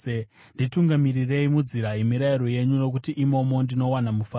Nditungamirirei munzira yemirayiro yenyu, nokuti imomo ndinowana mufaro.